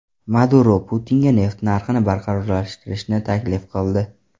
Maduro Putinga neft narxini barqarorlashtirishni taklif qildi.